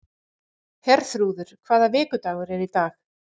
Herþrúður, hvaða vikudagur er í dag?